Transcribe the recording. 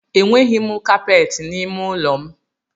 E nweghi kapeti n’ime ụlọ m